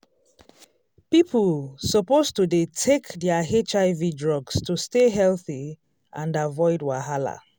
people suppose to dey take their hiv drugs to stay healthy and avoid wahala